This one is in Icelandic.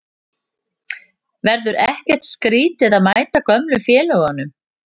Verður ekkert skrítið að mæta gömlu félögunum?